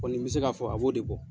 n bɛ se k'a fɔ a b'o de bɔ.